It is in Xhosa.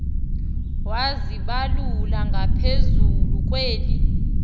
wazibalula ngaphezulu kweli